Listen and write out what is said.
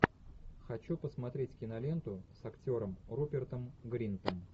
хочу посмотреть киноленту с актером рупертом гринтом